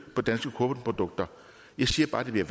på danske kornprodukter jeg siger bare at det bliver